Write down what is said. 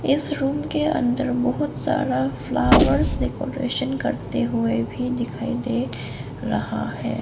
इस रूम के अंदर बहुत सारा फ्लावर्स डेकोरेशन करते हुए भी दिखाई दे रहा है।